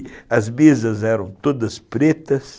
as mesas eram todas pretas,